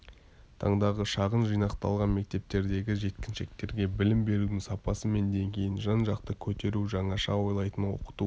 таңдағы шағын жинақталған мектептердегі жеткіншектерге білім берудің сапасы мен деңгейін жан-жақты көтеру жаңаша ойлайтын оқыту